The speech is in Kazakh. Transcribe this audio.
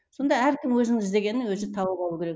сонда әркім өзін іздегенін өзі тауып алу керек